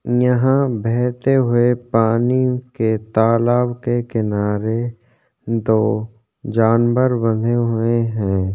यहाँ बैहते हुए पानी के तालाब के किनारे में दो जानवर बंधे हुए हैं।